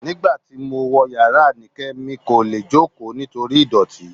Nígbà tí mo wọ̀ yàrá Anike, mi kò lè jókòó torí ìdọ̀tí